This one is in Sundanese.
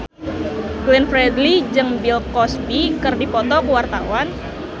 Glenn Fredly jeung Bill Cosby keur dipoto ku wartawan